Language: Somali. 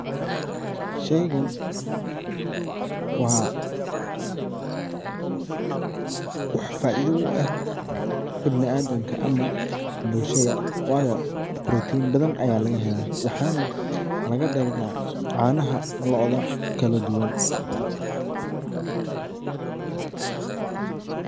Sheeygan wa wax faitha u eeh ibniaadaamka amah bulshada wayo protein bathan Aya lagahelah waxan laga deera canaha loodah kaladuuwan .